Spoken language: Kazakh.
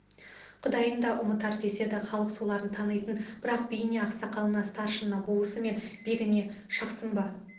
құдайын да ұмытар деседі халық соларын танитын бірақ биіне ақсақалына старшынына болысы мен бегіне шақсын ба